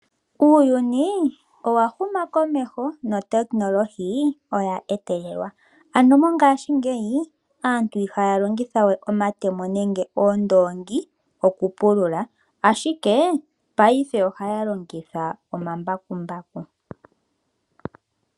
Uuyuni owa huma komeho notekinolohi oya etelelwa ano mongaashingeyi aantu ihaya longitha we omatemo nenge oondongi oku pulula, ashike Paife ohaya longitha omambakumbaku.